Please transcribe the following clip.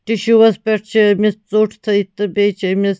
tissues .پٮ۪ٹھ چھ أمِس ژوٚٹ تھٲوِتھ تہٕ بیٚیہِ چھ أمِس